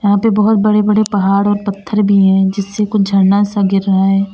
यहां पे बहोत बड़े बड़े पहाड़ और पत्थर भी है जिससे कुछ झरना सा गिर रहा है।